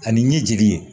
Ani ɲɛjigin ye